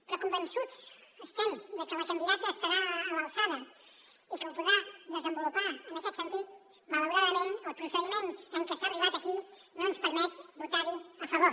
però convençuts com estem de que la candidata estarà a l’alçada i que ho podrà desenvolupar en aquest sentit malauradament el procediment amb què s’ha arribat aquí no ens permet votar hi a favor